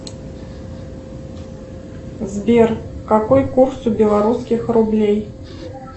сбер какой курс у белорусских рублей